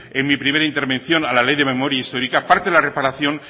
en mi primera intervención a la ley de memoria histórica